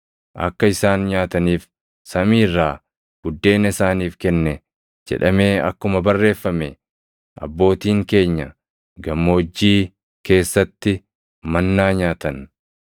‘Akka isaan nyaataniif samii irraa buddeena isaaniif kenne’ jedhamee akkuma barreeffame, abbootiin keenya gammoojjii keessatti mannaa nyaatan.” + 6:31 \+xt Bau 16:4; Nah 9:15; Far 78:24,25\+xt*